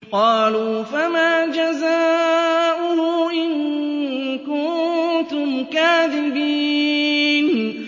قَالُوا فَمَا جَزَاؤُهُ إِن كُنتُمْ كَاذِبِينَ